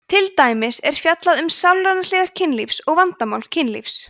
til dæmis er fjallað um sálrænar hliðar kynlífs og vandamál kynlífs